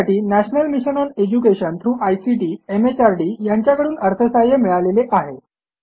यासाठी national mission on education through ICT MHRD यांच्याकडून अर्थसहाय्य मिळालेले आहे